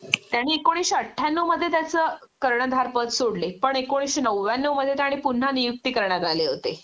त्यांनी एकोणीशे अठ्यानव मध्ये त्याच कर्णधारपद सोडले पण एकोणीशे नव्व्यान्नव मध्ये त्यांनी पुन्हा नियुक्ती करण्यात आले होते